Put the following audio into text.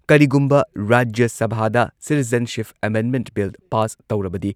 ꯀꯔꯤꯒꯨꯝꯕ ꯔꯥꯖ꯭ꯌ ꯁꯚꯥꯗ ꯁꯤꯇꯤꯖꯦꯟꯁꯤꯞ ꯑꯦꯃꯦꯟꯗꯃꯦꯟꯠ ꯕꯤꯜ ꯄꯥꯁ ꯇꯧꯔꯕꯗꯤ